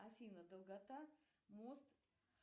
афина долгота мост